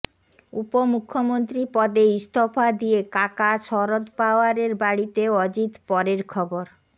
উপমুখ্যমন্ত্রী পদে ইস্তফা দিয়ে কাকা শরদ পাওয়ারের বাড়িতে অজিত পরের খবর